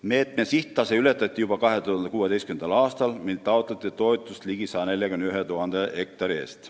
Meetme sihttase ületati juba 2016. aastal, mil taotleti toetust ligi 141 000 hektari eest.